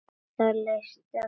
Það leist hinum vel á.